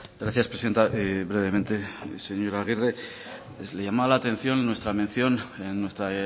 gracias presidenta brevemente señora agirre les llamaba la atención nuestra mención en nuestra